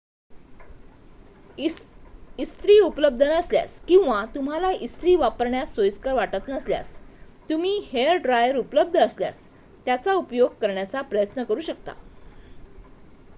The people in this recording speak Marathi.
इस्त्री उपलब्ध नसल्यास किंवा तुम्हाला इस्त्री वापरण्यास सोयीस्कर वाटत नसल्यास तुम्ही हेअर ड्रायर उपलब्ध असल्यास त्याचा उपयोग करण्याचा प्रयत्न करू शकता